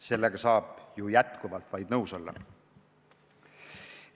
Sellega saab ju vaid nõus olla.